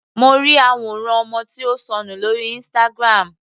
Mo ri àwòrán ọmọ tí ó sọnù lórí Instagram.